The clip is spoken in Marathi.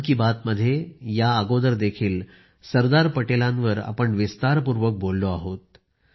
मन की बात मध्ये याच्या आधीही आपण सरदार पटेलांवर विस्तारपूर्वक बोललो आहोत